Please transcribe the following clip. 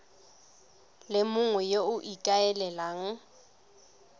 le mongwe yo o ikaelelang